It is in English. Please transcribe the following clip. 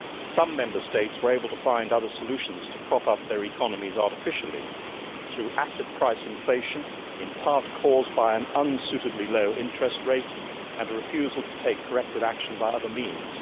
Some Member States were able to find other solutions to prop up their economies artificially through asset price inflation, in part, caused by an unsuitably low interest rate and a refusal to take corrective action by other means